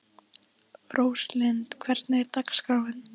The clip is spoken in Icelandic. Róslind, hvernig er dagskráin?